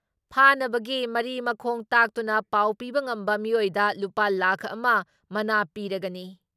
ꯐꯥꯅꯕꯒꯤ ꯃꯔꯤ ꯃꯈꯣꯡ ꯇꯥꯛꯇꯨꯅ ꯄꯥꯎ ꯄꯤꯕ ꯉꯝꯕ ꯃꯤꯑꯣꯏꯗ ꯂꯨꯄꯥ ꯂꯥꯈ ꯑꯃ ꯃꯅꯥ ꯄꯤꯔꯒꯅꯤ ꯫